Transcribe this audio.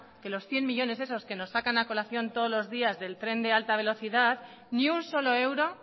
que los cien millónes esos que nos sacan a colación todos los días del tren de alta velocidad ni un solo euro